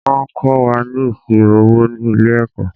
Wọ́n kó wa ni ìṣirò owó ni ilẹ̀-ẹ̀kọ́.